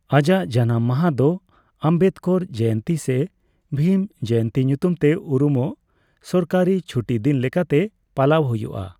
ᱟᱡᱟᱜ ᱡᱟᱱᱟᱢ ᱢᱟᱦᱟ ᱫᱚ ᱟᱢᱵᱮᱫᱠᱚᱨ ᱡᱚᱭᱚᱱᱛᱤ ᱥᱮ ᱵᱷᱤᱢ ᱡᱚᱭᱚᱱᱛᱤ ᱧᱩᱛᱩᱢᱛᱮ ᱩᱨᱩᱢᱚᱜ ᱥᱚᱨᱠᱟᱨᱤ ᱪᱷᱩᱴᱤ ᱫᱤᱱ ᱞᱮᱠᱟᱛᱮ ᱯᱟᱞᱟᱣ ᱦᱩᱭᱩᱜᱼᱟ ᱾